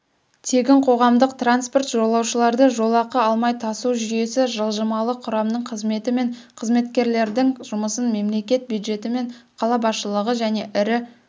тегін қоғамдық транспорт жолаушыларды жолақы алмай тасу жүйесі жылжымалы құрамның қызметі мен қызметкерлердің жұмысын мемлекет бюджеті мен қала басшылығы және ірі